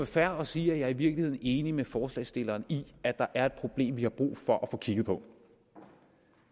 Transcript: fair og sige at jeg i virkeligheden er enig med forslagsstilleren i at der er et problem som vi har brug for at få kigget på